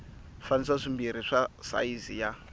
swifaniso swimbirhi swa sayizi ya